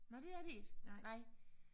Nåh det er det ikke? Nej